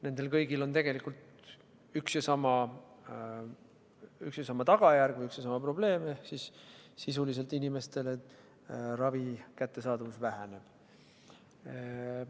Nendel kõigil on tegelikult üks ja sama tagajärg, üks ja sama probleem: ravi kättesaadavus inimestele sisuliselt väheneb.